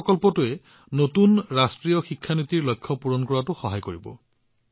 এই প্ৰকল্পটোৱে নতুন ৰাষ্ট্ৰীয় শিক্ষা নীতিক সেই লক্ষ্যবোৰত উপনীত হোৱাত যথেষ্ট সহায় কৰিব